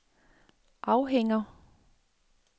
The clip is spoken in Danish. afhænger